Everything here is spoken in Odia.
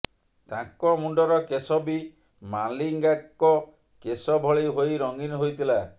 ତାଙ୍କ ମୁଣ୍ଡର କେଶ ବି ମାଲିଙ୍ଗାଙ୍କ କେଶ ଭଳି ହୋଇ ରଙ୍ଗୀନ ହୋଇଥିଲା